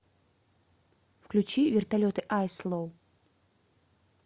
включи вертолеты айс ло